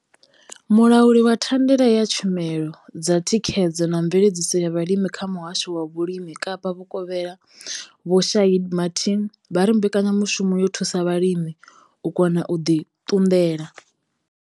Mulauli wa thandela ya tshumelo dza thikhedzo na mveledziso ya vhulimi kha muhasho wa vhulimi Kapa Vhukovhela vho Shaheed Martin vha ri mbekanyamushumo yo thusa vhalimi u kona u ḓi ṱunḓela.